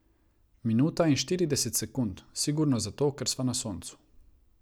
Minuta in štirideset sekund, sigurno zato, ker sva na soncu.